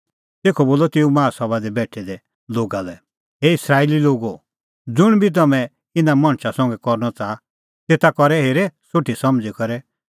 तेखअ बोलअ तेऊ माहा सभा दी बेठै दै लोगा लै हे इस्राएली लोगो ज़ुंण बी तम्हैं इना मणछा संघै करनअ च़ाहा तेता करै हेरे सोठी समझ़ी करै